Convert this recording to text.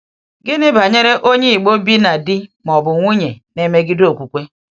Gịnị banyere onye um Ìgbò bi na di ma ọ bụ nwunye na-emegide okwukwe?